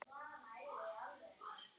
Lyfin breyttu lífi mínu.